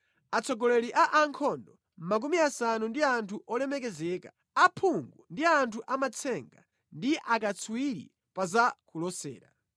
atsogoleri a ankhondo makumi asanu ndi anthu olemekezeka, aphungu ndi anthu amatsenga ndi akatswiri pa za kulosera.